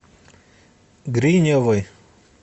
гриневой